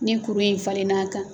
Ni kuru in falen n'a kan.